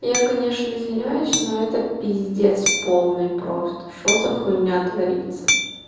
я конечно извиняюсь но это пиздец полный просто что за хуйня творится